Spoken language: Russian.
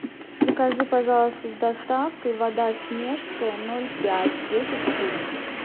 закажи пожалуйста с доставкой вода снежская ноль пять десять штук